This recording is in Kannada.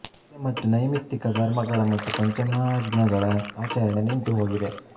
ನಿತ್ಯ ಮತ್ತು ನೈಮಿತ್ತಿಕ ಕರ್ಮಗಳ ಮತ್ತು ಪಂಚಮಹಾಯ್ಞಗಳ ಆಚರಣೆ ನಿಂತುಹೋಗಿದೆ